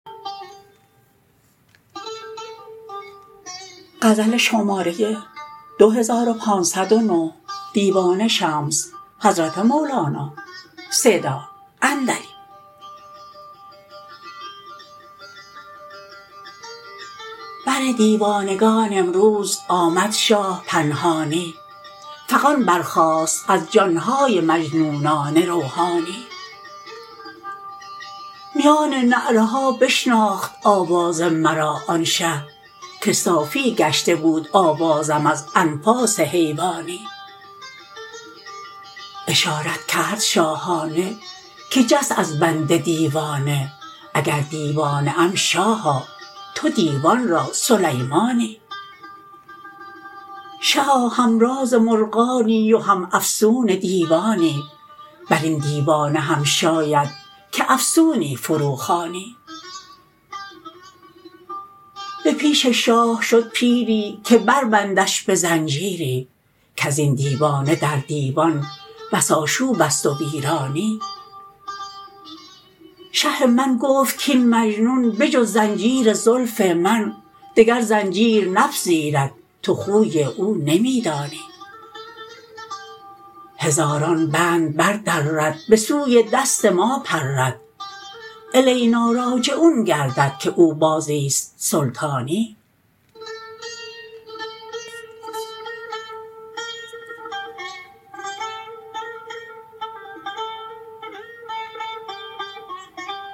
بر دیوانگان امروز آمد شاه پنهانی فغان برخاست از جان های مجنونان روحانی میان نعره ها بشناخت آواز مرا آن شه که صافی گشته بود آوازم از انفاس حیوانی اشارت کرد شاهانه که جست از بند دیوانه اگر دیوانه ام شاها تو دیوان را سلیمانی شها همراز مرغانی و هم افسون دیوانی بر این دیوانه هم شاید که افسونی فروخوانی به پیش شاه شد پیری که بربندش به زنجیری کز این دیوانه در دیوان بس آشوب است و ویرانی شه من گفت کاین مجنون به جز زنجیر زلف من دگر زنجیر نپذیرد تو خوی او نمی دانی هزاران بند بردرد به سوی دست ما پرد الیناراجعون گردد که او بازی است سلطانی